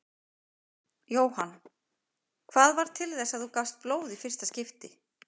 Jóhann: Hvað varð til þess að þú gafst blóð í fyrsta skipti?